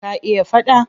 Ka iya faɗa?